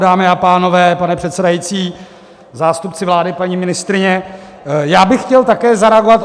Dámy a pánové, pane předsedající, zástupci vlády, paní ministryně, já bych chtěl také zareagovat.